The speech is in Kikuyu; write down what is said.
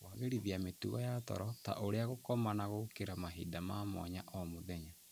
Kũagĩrithia mĩtugo ya toro, ta ũrĩa gũkoma na gũkĩra mahinda ma mwanya o mũthenya,